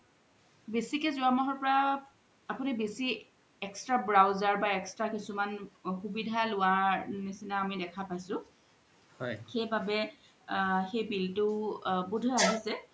বেছিকে জুৱা মাহৰ পৰা আপুনি বেচি extra browser বা extra কিছুমান সুবিধা লুৱা নিচিনা আমি দেখা পাইছো সেইবাবে সেই bill তু বুধই আহিছে